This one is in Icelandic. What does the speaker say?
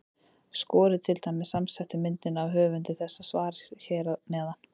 Skoðið til dæmis samsettu myndina af höfundi þessa svars hér fyrir neðan.